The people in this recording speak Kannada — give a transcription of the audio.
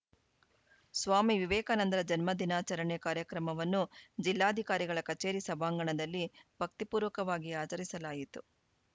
ಸ್ವಾಮಿ ವಿವೇಕಾನಂದರ ಜನ್ಮದಿನಾಚರಣೆ ಕಾರ್ಯಕ್ರಮವನ್ನು ಜಿಲ್ಲಾಧಿಕಾರಿಗಳ ಕಚೇರಿ ಸಭಾಂಗಣದಲ್ಲಿ ಭಕ್ತಿ ಪೂರ್ವಕವಾಗಿ ಆಚರಿಸಲಾಯಿತು